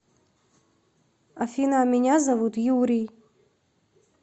афина меня зовут юрий